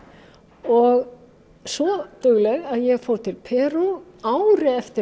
og svo dugleg að ég fór til Perú ári eftir